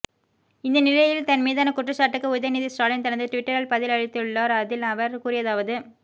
இந்த நிலையில் தன் மீதான குற்றச்சாட்டுக்கு உதயநிதி ஸ்டாலின் தனது டுவிட்டரில் பதில் அளித்துள்ளார்ள் அதில் அவர் கூறியதாவது